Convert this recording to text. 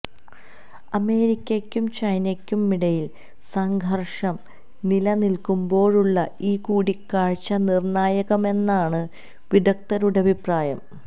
അമേരിക്കയ്ക്കും ചൈനയ്ക്കുമിടയില് സംഘര്ഷം നിലനില്ക്കുമ്പോഴുള്ള ഈ കൂടിക്കാഴ്ച നിര്ണായകമെന്നാണ് വിദഗ്ധരുടെ അഭിപ്രായം